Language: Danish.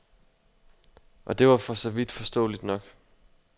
Og det var for så vidt forståeligt nok.